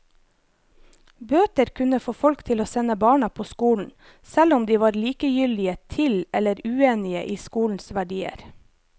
Bøter kunne få folk til å sende barna på skolen, selv om de var likegyldige til eller uenige i skolens verdier.